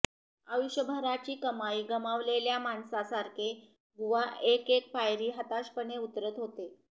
आयुष्यभराची कमाई गमावलेल्या माणसासारखे बुवा एक एक पायरी हताशपणे उतरत होते